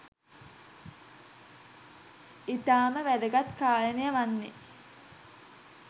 ඉතාම වැදගත් කාරණය වන්නේ